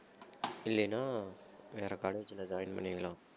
இல்லைனா வேற college ல join பண்ணிடலாம்